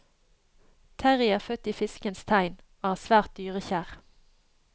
Terrie er født i fiskens tegn og er svært dyrekjær.